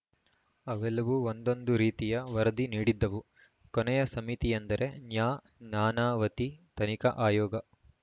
ಅವೆಲ್ಲವೂ ಒಂದೊಂದು ರೀತಿಯ ವರದಿ ನೀಡಿದ್ದವು ಕೊನೆಯ ಸಮಿತಿಯೆಂದರೆ ನ್ಯಾ ನಾನಾವತಿ ತನಿಖಾ ಆಯೋಗ